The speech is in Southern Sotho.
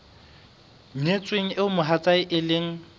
nyetsweng eo mohatsae e leng